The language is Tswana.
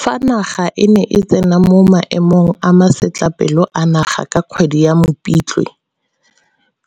Fa naga e ne e tsena mo Maemong a Masetlapelo a Naga ka kgwedi ya Mopitlwe,